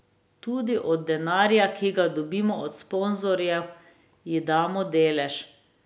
Tudi od denarja, ki ga dobimo od sponzorjev, ji damo delež.